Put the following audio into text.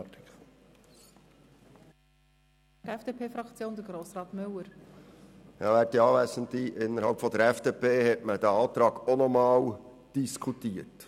Innerhalb der FDP-Faktion hat man diesen Antrag auch noch einmal diskutiert.